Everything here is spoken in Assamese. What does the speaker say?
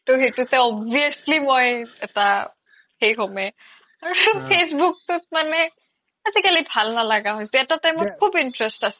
চাই obviously মই এটা সেই হ্'মে আৰু facebook তোত মানে আজিকালি ভাল নালাগা হৈছে এটা time খুব interest আছিল